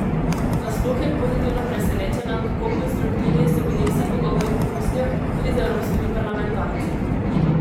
Nasploh je pozitivno presenečena, kako konstruktivni so bili vsi pogovori v Bruslju, tudi z evropskimi parlamentarci.